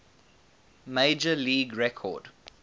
major league record